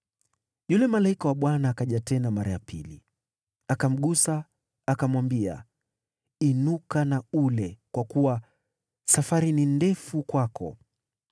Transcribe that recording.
Yule malaika wa Bwana akaja tena mara ya pili, akamgusa akamwambia, “Inuka na ule, kwa kuwa safari ni ndefu kwako.”